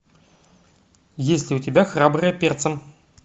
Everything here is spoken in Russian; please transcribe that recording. есть ли у тебя храбрые перцем